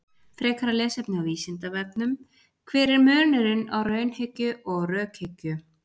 Frekara lesefni á Vísindavefnum: Hver er munurinn á raunhyggju og rökhyggju?